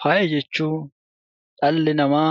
Faaya jechuun dhalli namaa